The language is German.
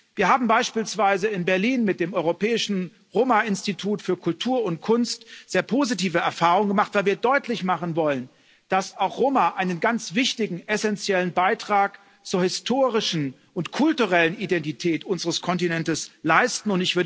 Wir haben beispielsweise in Berlin mit dem Europäischen Roma Institut für Kultur und Kunst sehr positive Erfahrungen gemacht, weil wir deutlich machen wollen, dass auch Roma einen ganz wichtigen essenziellen Beitrag zur historischen und kulturellen Identität unseres Kontinents leisten.